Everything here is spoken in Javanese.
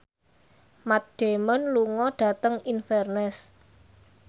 Matt Damon lunga dhateng Inverness